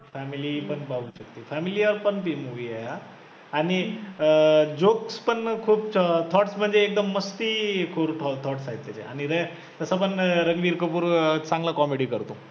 family पण पाहू शकते, family वर पण ती movie आहे आणि jokes पण खूप thoughts म्हणजे एकदम मस्ती करू thought thoughts आहेत त्याचे आणि रे तसं पण रणबीर कपूर अं चांगला comedy करतो.